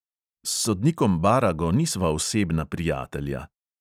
S sodnikom barago nisva osebna prijatelja.